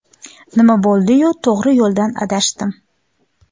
Nima bo‘ldi-yu, to‘g‘ri yo‘ldan adashdim!